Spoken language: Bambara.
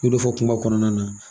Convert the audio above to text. N y'o do fɔ kuma kɔnɔna na.